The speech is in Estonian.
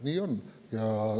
Nii on.